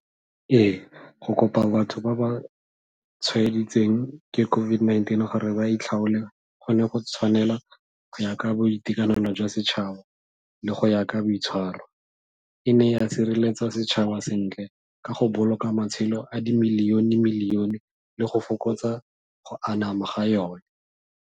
Ee, go kopa batho ba ba tshwaeditsweng ke COVID-19 gore ba itlhaole, go ne go tshwanela go ya ka boitekanelo jwa setšhaba le go ya ka boitshwaro. E ne ya sireletsa setšhaba sentle ka go boloka matshelo a dimiliyone-miliyone le go fokotsa go anama ga yone.